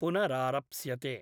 पुनरारप्स्यते।